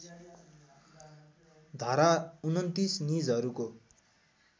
धारा २९ निजहरूको